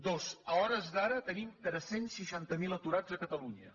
dos a hores d’ara tenim tres cents i seixanta miler aturats a catalunya